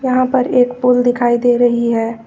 यहां पर एक पूल दिखाई दे रही है।